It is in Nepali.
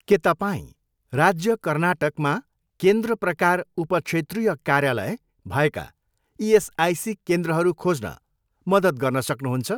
के तपाईँँ राज्य कर्नाटक मा केन्द्र प्रकार उपक्षेत्रीय कार्यालय भएका इएसआइसी केन्द्रहरू खोज्न मद्दत गर्न सक्नुहुन्छ?